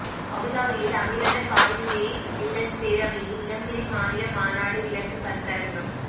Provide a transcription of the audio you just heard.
அபுதாபியில் அமீரக காயிதே மில்லத் பேரவையின் இளம்பிறை மாநில மாநாடு விளக்க கருத்தரங்கம்